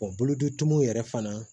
bolotuw yɛrɛ fana